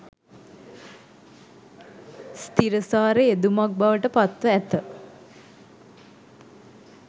ස්ථීරසාර යෙදුමක් බවට පත්ව ඇත.